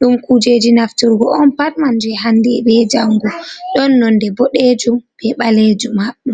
ɗum kujeji nafturgo on pat maje, hande be jangu ɗon nonde boɗejuum be ɓalejuumm, hadɗo.